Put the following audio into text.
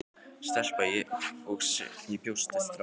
Stelpa- og ég sem bjóst við strák.